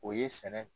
O ye sɛnɛ